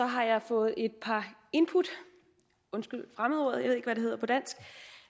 har jeg fået et par input undskyld fremmedordet